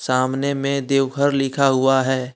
सामने में देवघर लिखा हुआ है।